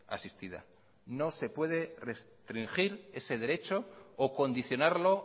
asistida no se puede restringir ese derecho o condicionarlo